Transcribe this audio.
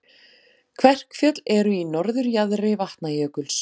Kverkfjöll eru í norðurjaðri Vatnajökuls.